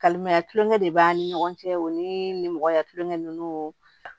Kalimaya tulonkɛ de b'an ni ɲɔgɔn cɛ o ni mɔgɔya kulonkɛ ninnu